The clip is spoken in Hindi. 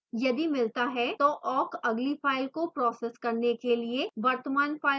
यदि मिलता है तो awk अगली फाइल को process करने के लिए वर्तमान फाइल को छोड़ता है